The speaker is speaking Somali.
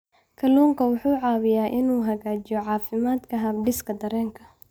Kalluunku wuxuu caawiyaa inuu hagaajiyo caafimaadka habdhiska dareenka.